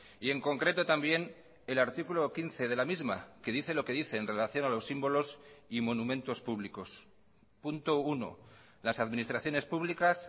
y en concreto también el artículo quince de la misma que dice lo que dice en relación a los símbolos y monumentos públicos punto uno las administraciones públicas